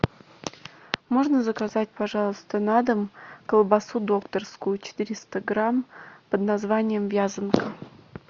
можно заказать пожалуйста на дом колбасу докторскую четыреста грамм под названием вязанка